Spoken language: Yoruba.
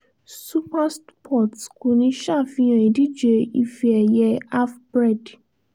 super sports kò ní ṣàfihàn ìdíje ife ẹ̀yẹ afprep